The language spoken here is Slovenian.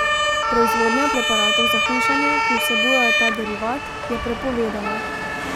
Proizvodnja preparatov za hujšanje, ki vsebujejo ta derivat, je prepovedana.